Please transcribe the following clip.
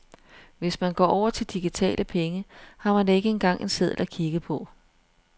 Hvis man går over til digitale penge, har man ikke engang en seddel at kigge på.